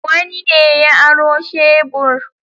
Wani ne ya aro shebur.